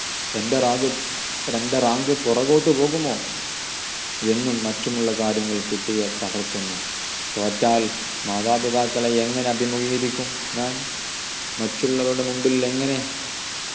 എൻ്റെ റാഗ് എൻ്റെ rank പുറകോട്ടു പോകുമോ എന്നും മറ്റുമുള്ള കാര്യങ്ങൾ കുട്ടിയെ തളർത്തുന്നു തോറ്റാൽ മാതാപിതാക്കളെ എങ്ങനെ അഭിമുഗീകരിക്കും ഞാൻ മറ്റുള്ളവരുടെ മുമ്പിൽ എങ്ങനെ